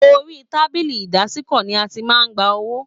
Orí tábìlì ìdásìkò ní a tí màá n gbà owó.